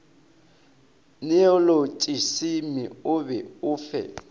neolotšisimi o be o fe